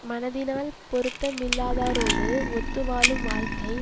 மனத்தினால் பொருத்த மில்லாதாரோடு ஒத்து வாழும் வாழ்க்கை